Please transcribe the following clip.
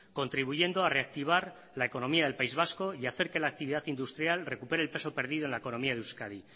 contribuyendo a reactivar la economía del país vasco y hacer que la actividad industrial recupere el peso perdido en la economía de euskadi